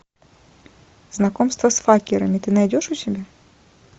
знакомство с факерами ты найдешь у себя